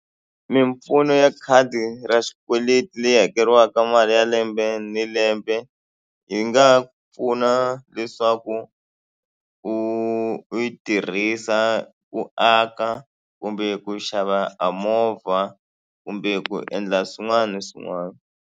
Mimpfuno ya khadi ra xikweleti leyi hakeriwaka mali ya lembe ni lembe yi nga pfuna leswaku u u yi tirhisa ku aka kumbe ku xava a movha kumbe ku endla swin'wana na swin'wana.